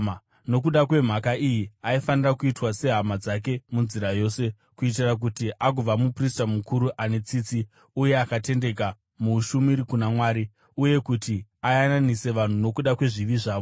Nokuda kwemhaka iyi aifanira kuitwa sehama dzake munzira yose, kuitira kuti agova muprista mukuru ane tsitsi uye akatendeka muushumiri kuna Mwari, uye kuti ayananise vanhu nokuda kwezvivi zvavo.